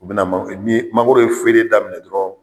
U bi na man, ni mangoro ye feeren daminɛ dɔrɔn